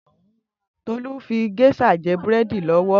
Tolu n fi géṣà jè búrèdí lòwò